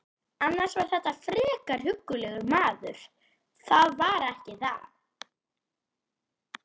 Annars var þetta frekar huggulegur maður, það var ekki það.